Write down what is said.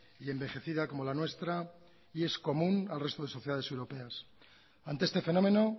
y envejecida como la nuestra y es común al resto de sociedades europeas ante este fenómeno